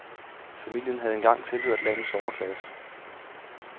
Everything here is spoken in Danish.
Familien havde engang tilhørt landets overklasse.